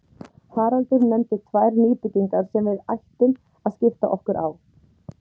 Haraldur nefndi tvær nýbyggingar sem við ættum að skipta okkur á.